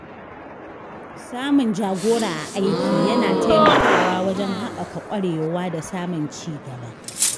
Samun jagora a aiki yana taimakawa wajen haɓaka ƙwarewa da samun ci gaba.